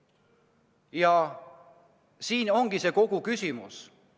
Ja see ongi kogu küsimus.